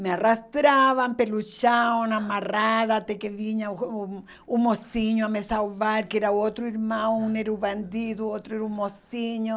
Me arrastavam, pelo chão, amarravam até que vinha o um mocinho a me salvar, que era outro irmão, um era o bandido, outro era o mocinho.